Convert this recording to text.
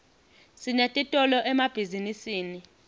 sinetitolo emabhizinisini